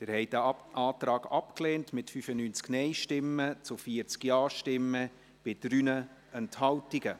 Sie haben den Antrag abgelehnt, mit 95 Nein- zu 40 Ja-Stimmen bei 3 Enthaltungen.